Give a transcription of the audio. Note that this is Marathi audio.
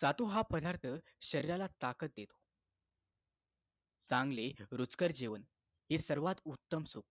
सातू हा पदार्थ शरीराला ताकद देतो चांगले रुचकर जेवण हे सर्वात उत्तम सुख